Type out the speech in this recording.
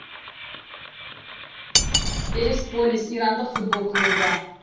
персеполис ирандық футбол клубы